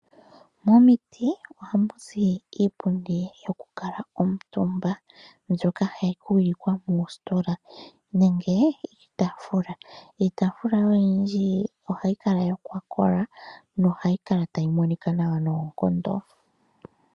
Momuti ohamu zi iipundi yokukala omutumba mbyoka hayi huyikwa moositola nenge iitaafula. Iitaafula oyindji ohayi kala yakola nohayi kala tayi monika nawa noonkondo.